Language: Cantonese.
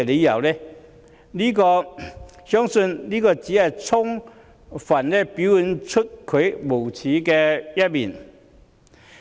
我相信這只是充分表現出她的無耻。